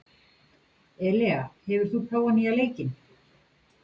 Elea, hefur þú prófað nýja leikinn?